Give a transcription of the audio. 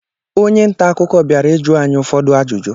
Onye nta akụkọ bịara ịjụ anyị ụfọdụ ajụjụ.